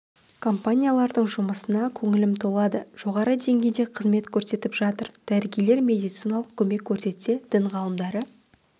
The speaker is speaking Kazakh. компаниялардың жұмысына көңілім толады жоғарғы деңгейде қызмет көрсетіп жатыр дәрігерлер медициналық көмек көрсетсе дін ғалымдары